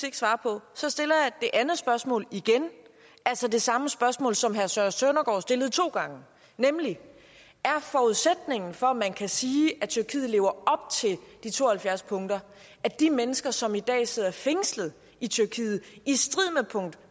ikke svare på så stiller jeg det andet spørgsmål igen altså det samme spørgsmål som herre søren søndergaard stillede to gange nemlig er forudsætningen for at man kan sige at tyrkiet lever op til de to og halvfjerds punkter at de mennesker som i dag sidder fængslet i tyrkiet i strid med punkt